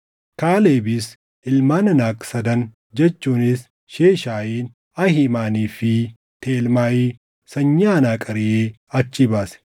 Kaalebis ilmaan Anaaq sadan jechuunis Sheeshaayiin, Ahiimanii fi Talmaayi sanyii Anaaq ariʼee achii baase.